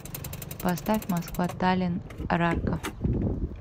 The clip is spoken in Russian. поставь москва таллин рарка